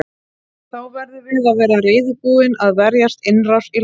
Þá verðum við að vera reiðubúnir að verjast innrás í landið.